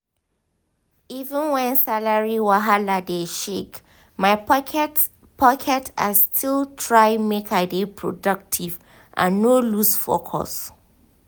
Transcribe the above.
even when salary wahala dey shake my pocket pocket i still try make i dey productive and no lose focus.